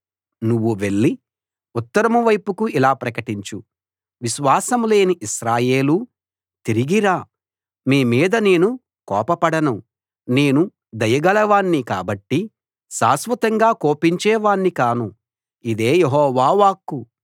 నువ్వు వెళ్లి ఉత్తరం వైపుకు ఇలా ప్రకటించు విశ్వాసం లేని ఇశ్రాయేలూ తిరిగి రా మీ మీద నేను కోపపడను నేను దయగలవాణ్ణి కాబట్టి శాశ్వతంగా కోపించేవాణ్ణి కాను ఇదే యెహోవా వాక్కు